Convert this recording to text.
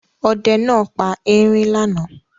Ọdẹ náà pa erin lánàá.